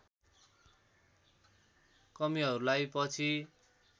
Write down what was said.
कमीहरूलाई पछि